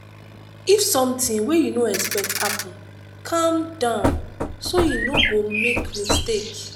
if something wey you no expect happen calm down so you no go make mistake